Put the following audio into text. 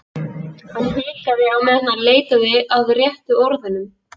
Hann hikaði á meðan hann leitaði að réttu orðunum.